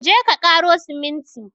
Je ka ƙaro siminti!